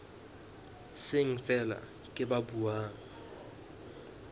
seng feela ke ba buang